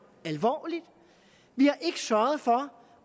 alvorligt vi har ikke sørget for